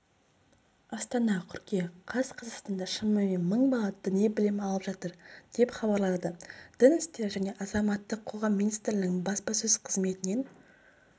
астана қыркүйек қаз қазақстанда шамамен мың бала діни білім алып жатыр деп хабарлады дін істері және азаматтық қоғам министрлігінің баспасөз қызметінен